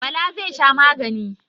Bala zai sha magani.